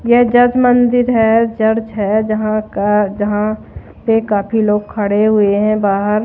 यह जज मंदिर है चर्च है जहां का जहां से काफी लोग खड़े हुए है बाहर--